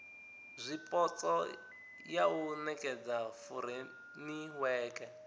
zwipotso ya u nekedza furemiweke